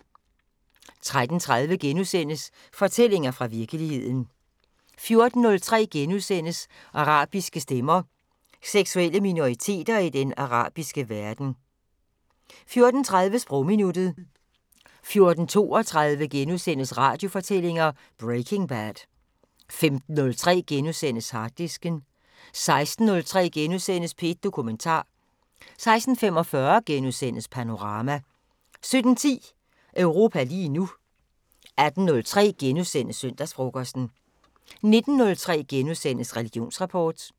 13:30: Fortællinger fra virkeligheden * 14:03: Arabiske stemmer: Seksuelle minoriteter i den arabiske verden * 14:30: Sprogminuttet 14:32: Radiofortællinger: Breaking Bad * 15:03: Harddisken * 16:03: P1 Dokumentar * 16:45: Panorama * 17:10: Europa lige nu 18:03: Søndagsfrokosten * 19:03: Religionsrapport *